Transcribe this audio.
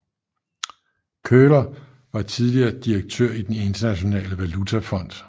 Köhler var tidligere direktør i Den Internationale Valutafond